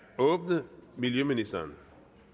åbnet miljøministeren